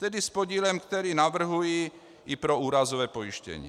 Tedy s podílem, který navrhuji i pro úrazové pojištění.